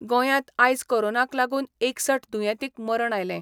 गोंयात आयज कोरोनाक लागुन एकसठ दुयेंतींक मरण आयले.